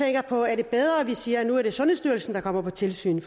jeg på er det bedre vi siger at nu er det sundhedsstyrelsen der kommer på tilsyn